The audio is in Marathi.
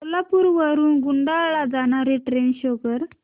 कोल्हापूर वरून कुडाळ ला जाणारी ट्रेन शो कर